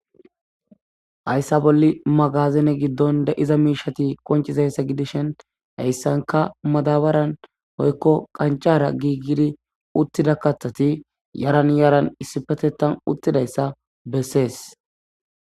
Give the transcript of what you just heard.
Hayssa bolli magazene giddon de'iza miishati qonciza issa giddishen ha issanka madabaren woykko qancara giigidi uttida kathati yaran yaran issippetetan uttida issa bessees.